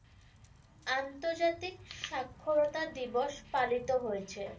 আন্তর্জাতিক স্বাক্ষরতা দিবস পালিত হয়েছে।